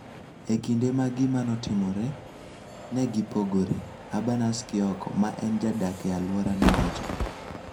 E kinde ma gima notimore, ne gipogore," Urbanus Kioko, ma en jadak e alwora nowacho.